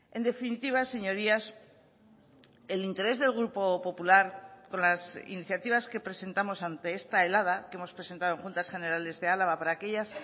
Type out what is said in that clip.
en definitiva señorías el interés del grupo popular con las iniciativas que presentamos ante esta helada que hemos presentado en juntas generales de álava para aquellas